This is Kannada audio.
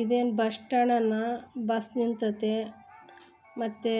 ಇದೇನ್ ಬಸ್ಸ್ಟಾಂಡ್ ನ ಬಸ್ ನಿಂತತೆ ಮತ್ತೆ